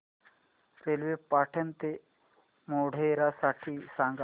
railway Patan ते मोढेरा साठी सांगा